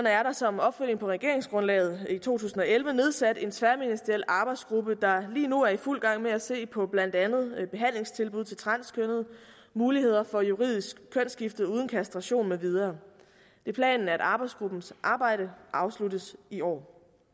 er der som opfølgning på regeringsgrundlaget i to tusind og elleve nedsat en tværministeriel arbejdsgruppe der lige nu er i fuld gang med at se på blandt andet behandlingstilbud til transkønnede muligheder for juridisk kønsskifte uden kastration med videre det er planen at arbejdsgruppens arbejde afsluttes i år